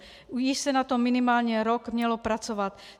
Již se na tom minimálně rok mělo pracovat.